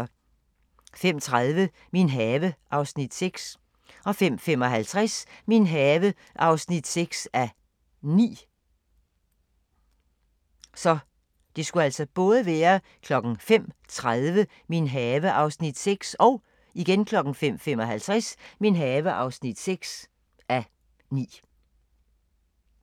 05:30: Min have (Afs. 6) 05:55: Min have (6:9)